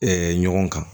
ɲɔgɔn kan